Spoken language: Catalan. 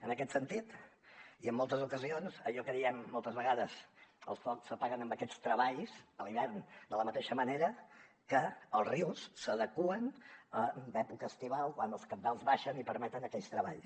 en aquest sentit i en moltes ocasions allò que diem moltes vegades els focs s’apaguen amb aquests treballs a l’hivern de la mateixa manera que els rius s’adeqüen en època estival quan els cabals baixen i permeten aquells treballs